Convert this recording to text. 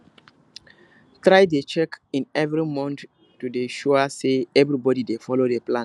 try dey check in every month to dey sure say everybody dey follow de plan